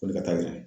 Koli ka taa